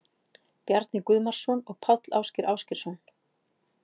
Bjarni Guðmarsson og Páll Ásgeir Ásgeirsson.